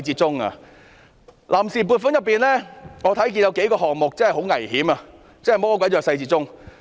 從臨時撥款中我看到有數個項目很危險，真是魔鬼在細節中。